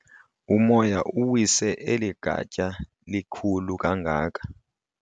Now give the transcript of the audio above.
Umoya uwise eli gatya lilikhulu kangaka.